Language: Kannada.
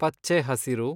ಪಚ್ಚೆ ಹಸಿರು